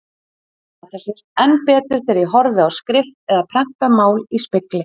Þetta sést enn betur þegar ég horfi á skrift eða prentað mál í spegli.